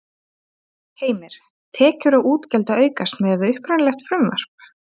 Heimir: Tekjur og útgjöld að aukast miðað við upprunalegt frumvarp?